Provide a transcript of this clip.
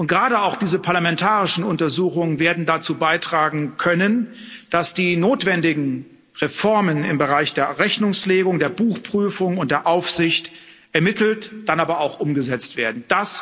Gerade auch diese parlamentarischen Untersuchungen werden dazu beitragen können, dass die notwendigen Reformen im Bereich der Rechnungslegung, der Buchprüfung und der Aufsicht ermittelt, dann aber auch umgesetzt werden.